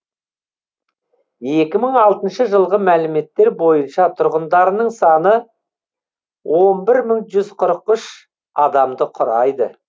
екі мың алтыншы жылғы мәліметтер бойынша тұрғындарының саны он бір мың жүз қырық үш адамды құрайды